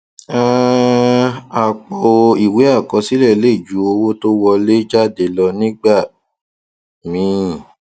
um àpọ ìwé àkọsílẹ lè ju owó tó wọléjáde lọ nígbà míì